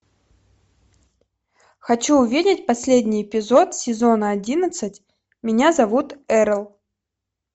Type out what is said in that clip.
хочу увидеть последний эпизод сезона одиннадцать меня зовут эрл